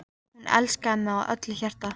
Hún elskaði mig af öllu hjarta.